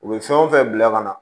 U bɛ fɛn o fɛn bila ka na